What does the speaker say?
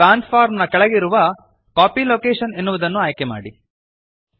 transform ನ ಕೆಳಗಿರುವ copy location ಎನ್ನುವುದನ್ನು ಆಯ್ಕೆಮಾಡಿರಿ